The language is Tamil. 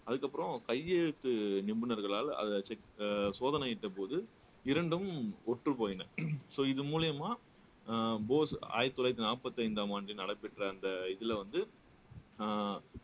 அதுக்கப்புறம் கையெழுத்து நிபுணர்களால அத செக் சோதனையிட்டபோது இரண்டும் ஒற்று போயின சோ இது மூலியமா அஹ் போஸ் ஆயிரத்தி தொள்ளாயிரத்தி நாற்பத்தி ஐந்தாம் ஆண்டு நடைபெற்ற அந்த இதுல வந்து அஹ்